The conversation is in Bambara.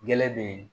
Gɛrɛ be yen